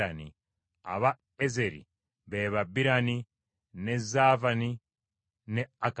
Aba Ezeri be ba Birani, ne Zaavani ne Akani.